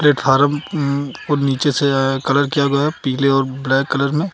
Platform को नीचे से अअ कलर किया गया पीले और ब्लैक कलर में।